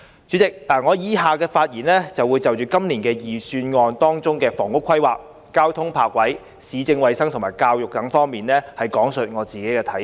主席，以下發言我會就今年預算案的房屋規劃、交通泊車設施、市政衞生和教育等方面講述自己的看法。